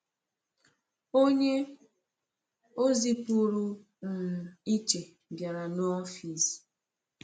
Onye ozi pụrụ um iche bịara n’ọfịs.